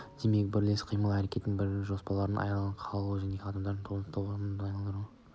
демек бірлескен қимыл-әрекеттің бірлігі мен жоспарлығынан айырылып қалу кез келген адамдардың ұйымдасқан тобын тобырға айналдырады